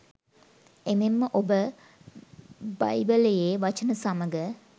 එමෙන්ම ඔබ බ්යිබලයේ වචන සමග